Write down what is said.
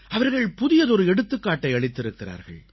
அவர்கள் புதியதொரு எடுத்துக்காட்டை அளித்திருக்கிறார்கள்